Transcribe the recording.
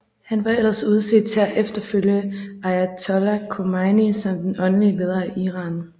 Han var ellers udset til at efterfølge ayatollah Khomeini som den åndelige leder af Iran